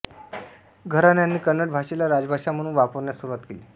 घराण्याने कन्नड भाषेला राज्यभाषा म्हणून वापरण्यास सुरूवात केली